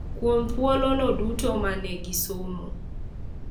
Kuom thuolono duto ma ne gisomo.